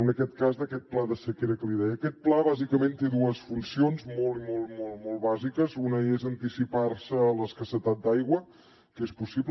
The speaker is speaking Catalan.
en aquest cas d’aquest pla de sequera que li deia aquest pla bàsicament té dues funcions molt bàsiques una és anticipar se a l’escassetat d’aigua que és possible